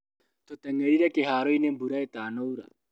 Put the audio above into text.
Tũtengerire kĩharoinĩ mbura itanaura.